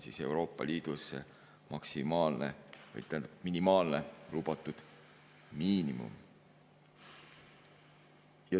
" See on Euroopa Liidus lubatud miinimum.